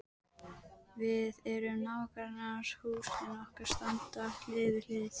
Við erum nágrannar, húsin okkar standa hlið við hlið.